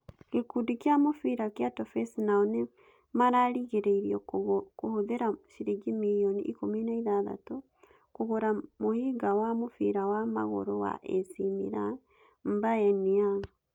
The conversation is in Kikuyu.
Gĩkundi kĩa mũbira kĩa Toffees nao nĩ marerĩgĩrĩrio kũhũthĩra ciringi mirioni 16 kũgũra mũhĩnga wa mũbira wa magũrũ wa AC Milan M'Baye Niang.